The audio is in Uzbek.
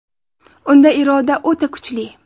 Unda iroda o‘ta kuchli.